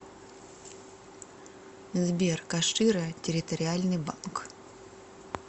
сбер кашира территориальный банк